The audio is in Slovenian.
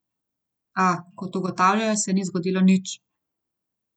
A, kot ugotavljajo, se ni zgodilo nič.